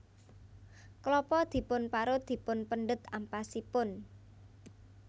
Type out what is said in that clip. Klapa dipun parut dipun pendhet ampasipun